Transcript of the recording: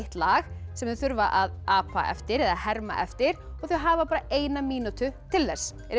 lag sem þau þurfa að apa eftir eða herma eftir og þau hafa bara eina mínútu til þess eruð